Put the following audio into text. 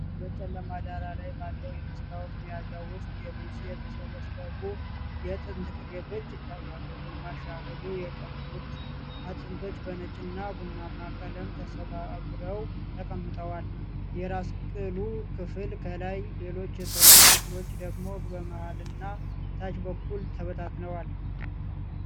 በጨለማ ዳራ ላይ ባለው የመስታወት መያዣ ውስጥ የሉሲ የተሰበሰቡ የጥንት ቅሪቶች ይታያሉ። ግማሽ ያህሉ የቀሩት አጥንቶች በነጭና ቡናማ ቀለም ተሰባብረው ተቀምጠዋል። የራስ ቅሉ ክፍል ከላይ፣ ሌሎች የሰውነት ክፍሎች ደግሞ በመሃልና ታች በኩል ተበታትነዋል።